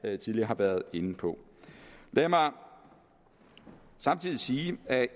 jeg tidligere har været inde på lad mig samtidig sige at